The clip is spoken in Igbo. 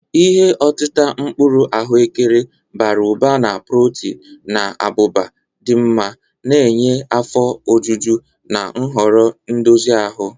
Ihe otita mkpuru ahụekere, bara ụba na protin na abụba dị mma, na-enye afọ ojuju na nhoro ndozi ahụ.